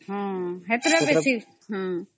ସେଥିରେ ତା ବେଶୀ